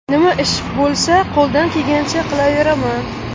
Nima ish bo‘lsa, qo‘ldan kelgancha qilaveraman.